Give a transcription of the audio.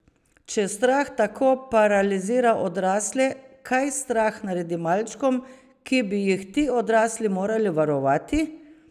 Če strah tako paralizira odrasle, kaj strah naredi malčkom, ki bi jih ti odrasli morali varovati?